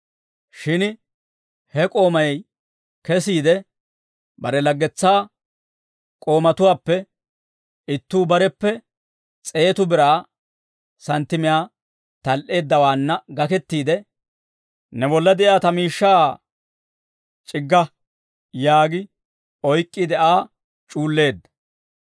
«Shin he k'oomay kesiide, bare laggetsaa k'oomatuwaappe ittuu bareppe s'eetu biraa santtimiyaa tal"eeddawaanna gakettiide, ‹Ne bolla de'iyaa ta miishshaa c'igga› yaagi oyk'k'iide, Aa c'uulleedda.